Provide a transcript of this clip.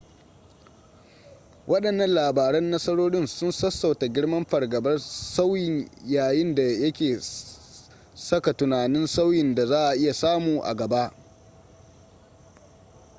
wadannan labaran nasarorin sun sassauta girman fargabar sauyin yayin da yake saka tunanin sauyin da za a iya samu a gaba